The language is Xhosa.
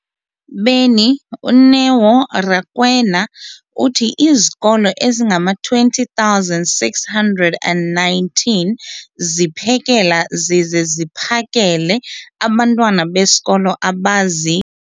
beni, uNeo Rakwena, uthi izikolo ezingama-20 619 ziphekela zize ziphakele abantwana besikolo abazi-